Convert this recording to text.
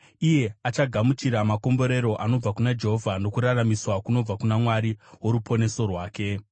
Iye achagamuchira makomborero anobva kuna Jehovha nokururamiswa kunobva kuna Mwari woruponeso rwake.